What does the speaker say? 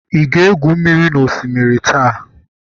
ị ga-egwu mmiri n'osimiri taa?